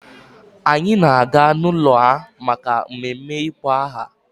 Anyị na-aga n'ụlọ ha maka mmemme ịkpọ aha.